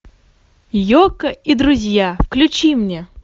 ека и друзья включи мне